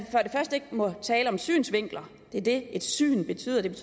ikke må tale om synsvinkler det er det et syn betyder det